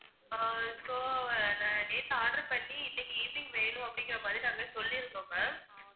அஹ் so நான் நேத்து order பண்ணி இன்னைக்கு evening வேணும் அப்படிங்கற மாதிரி நாங்க சொல்லிருந்தோம் ma'am